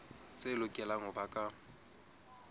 tse lokelang ho ba ka